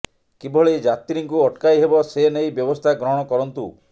କିଭଳି ଯାତ୍ରୀଙ୍କୁ ଅଟକାଇ ହେବ ସେ ନେଇ ବ୍ୟବସ୍ଥା ଗ୍ରହଣ କରନ୍ତୁ